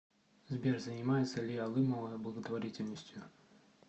сбер занимается ли алымова благотворительностью